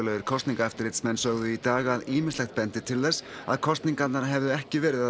sögðu í dag að ýmislegt benti til þess að kosningarnar hefðu ekki verið að öllu leyti frjálsar